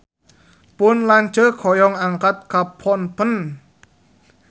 Pun lanceuk hoyong angkat ka Phnom Penh